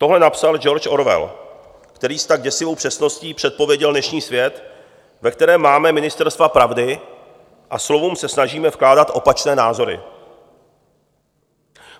Tohle napsal George Orwell, který s tak děsivou přesností předpověděl dnešní svět, ve kterém máme ministerstva pravdy a slovům se snažíme vkládat opačné názory.